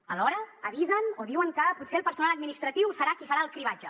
alhora avisen o diuen que potser el personal administratiu serà qui farà el cribratge